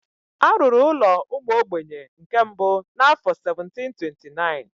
A rụrụ ụlọ ụmụ ogbenye nke mbụ n'afọ 1729.